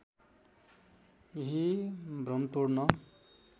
यही भ्रम तोड्न